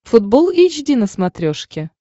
футбол эйч ди на смотрешке